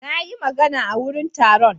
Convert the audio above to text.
Na yi magana a wurin taron.